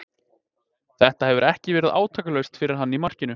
Þetta hefur ekki verið átakalaust fyrir hann í markinu.